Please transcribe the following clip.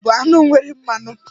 Ezì bụ anụ nwere mmanụ.